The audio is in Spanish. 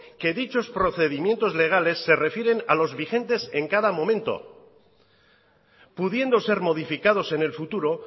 que dichos procedimientos legales se refieren a los vigentes en cada momento pudiendo ser modificados en el futuro